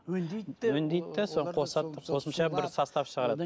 өңдейді де соған қосады да қосымша бір состав шығарады